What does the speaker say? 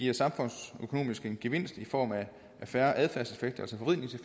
det samfundsøkonomisk giver en gevinst i form af færre adfærdseffekter